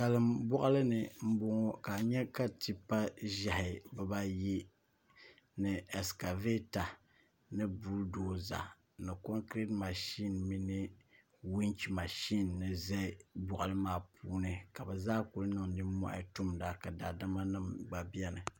salin boɣali ni n boŋo ka n nyɛ ka tipa ʒiɛhi bibayi ni ɛskavɛta ni bull doza ni komkirɛt mashin mini winch mashin ʒɛ boɣali maa puuni ka bi zaa ku niŋ nimmohi tumda ka daadama nim gba biɛni